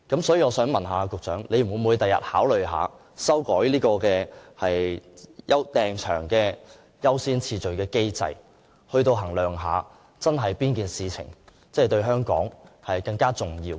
所以，請問局長將來會否考慮修改有關預訂場地優先次序的機制，衡量一下哪件事情真的對香港更為重要？